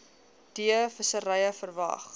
d visserye verwag